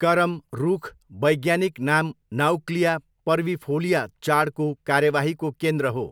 करम रुख, वैज्ञानिक नाम नाउक्लिया पर्विफोलिया चाडको कार्यवाहीको केन्द्र हो।